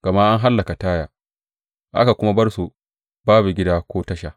Gama an hallaka Taya aka kuma bar su babu gida ko tasha.